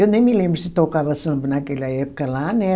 Eu nem me lembro se tocava samba naquela época lá, né?